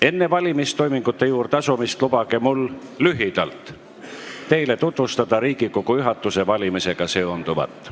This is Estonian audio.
Enne valimistoimingute juurde asumist lubage mul lühidalt teile tutvustada Riigikogu juhatuse valimisega seonduvat.